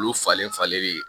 Olu falen falenlen